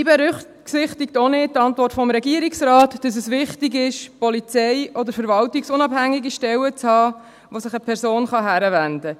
Die Antwort des Regierungsrates berücksichtigt auch nicht, dass es wichtig ist, polizei- oder verwaltungsunabhängige Stellen zu haben, an die sich eine Person wenden kann.